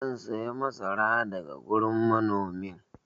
zan saya masara daga wurin manomin